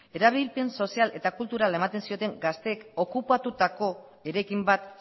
erabilpen sozial eta kulturala ematen zioten gazteek okupatutako eraikin bat